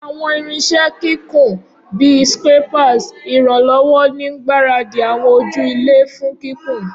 Awọn irinṣẹ kikun, bi scrapers, iranlọwọ ni ngbaradi awọn oju-ilẹ fun kikun.